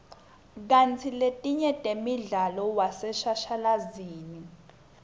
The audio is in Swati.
kantsi letinye temdlalo waseshashalazini